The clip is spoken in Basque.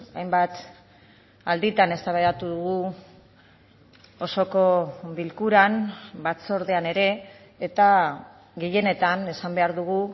hainbat alditan eztabaidatu dugu osoko bilkuran batzordean ere eta gehienetan esan behar dugu